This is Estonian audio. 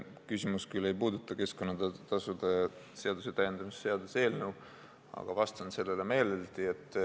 Küsimus ei puuduta küll keskkonnatasude seaduse täiendamise seaduse eelnõu, aga vastan sellele meeleldi.